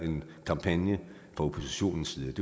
en kampagne fra oppositionens side